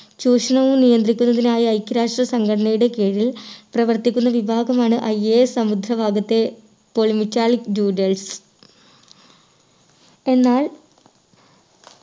ചൂഷണവും നിയന്ത്രിക്കുന്നതിനായി ഐക്യരാഷ്ട്ര സംഘടനയുടെ കീഴിൽ പ്രവർത്തിക്കുന്ന വിഭാഗമാണ്‌ IAS സമുദ്ര ഭാഗത്തെ polymetallic nodules എന്നാൽ